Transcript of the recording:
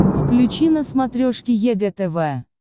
включи на смотрешке егэ тв